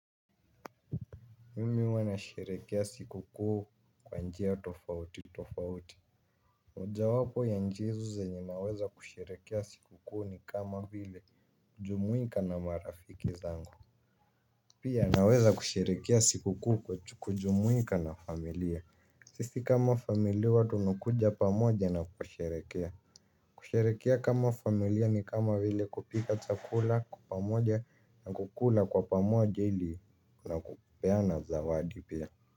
Mimi huwa nasherehekea siku kuu kwa njia tofauti tofauti ja wapo ya nchi hizo zenye naweza kusherehekea siku kuu ni kama vile kujumuika na marafiki zangu. Pia naweza kusherehekea siku kuu kwa kujumuika na familia. Sisi kama familia huwa tu nakuja pamoja na kusherehekea. Kusherehekea kama familia ni kama vile kupika chakula kwa pamoja na kukula kwa pamoja ili na kupeana zawadi pia.